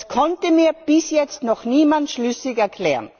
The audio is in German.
Das konnte mir bis jetzt noch niemand schlüssig erklären.